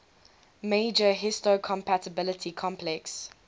major histocompatibility complex